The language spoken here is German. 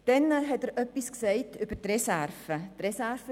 Der Spezialist hat auch etwas zu den Reserven gesagt.